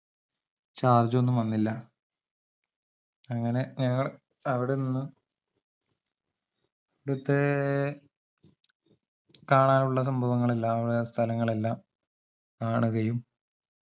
charge ഒന്നും വന്നില്ല അങ്ങനെ ഞങ്ങൾ അവടെനിന്ന് വിടത്തേയ് കാണാനുള്ള സംഭവങ്ങളെല്ലാം സ്ഥലങ്ങളെല്ലാം കാണുകയും